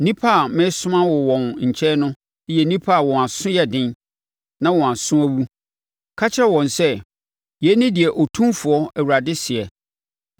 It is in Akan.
Nnipa a meresoma wo wɔn nkyɛn no yɛ nnipa a wɔn aso yɛ den na wɔn aso awu. Ka kyerɛ wɔn sɛ, ‘Yei ne deɛ Otumfoɔ Awurade seɛ.’